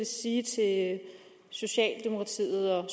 sige til socialdemokratiet og